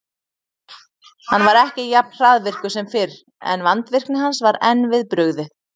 Hann var ekki jafn hraðvirkur sem fyrr, en vandvirkni hans var enn við brugðið.